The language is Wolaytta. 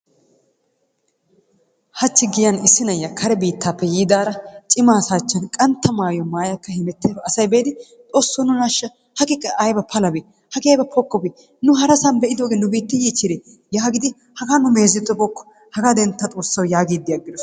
Hachi giyan issi na'iya kare biittappe yiidaara cimma asaa achchan qantta maayuwaa maya hemettiyaro asay be'idi xosso nuna ashsha hagee qa ayba palabee hagee aybba pokkobee nu harasan be'idooge nu biitti yiichchide yagidi hagaa nu meezettibookko hagaa dentta xoossawu yaagidi aggidosona.